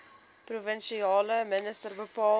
provinsiale minister bepaal